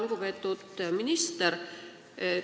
Lugupeetud minister!